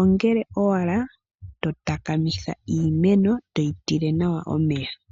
ongele owala totakamitha iimeno, toyi tile nawa omeya.